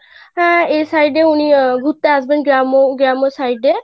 আহ এই side এ উনি ঘুরতে আসবেন গ্রাম্~ গ্রাম্য side এ,